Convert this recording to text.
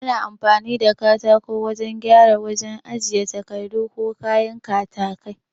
Ana amfani da katako wajan gyara wajajen ajiye takardu ko kayan katakai